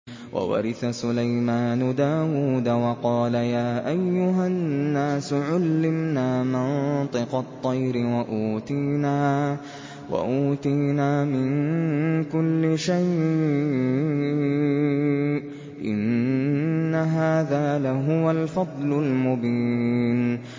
وَوَرِثَ سُلَيْمَانُ دَاوُودَ ۖ وَقَالَ يَا أَيُّهَا النَّاسُ عُلِّمْنَا مَنطِقَ الطَّيْرِ وَأُوتِينَا مِن كُلِّ شَيْءٍ ۖ إِنَّ هَٰذَا لَهُوَ الْفَضْلُ الْمُبِينُ